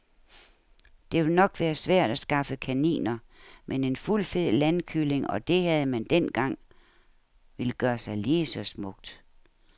Det vil nok være svært at skaffe kaniner, men en fuldfed landkylling, og det havde man dengang, vil gøre sig lige så smukt.